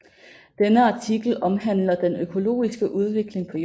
Denne artikel omhandler den økologiske udvikling på Jorden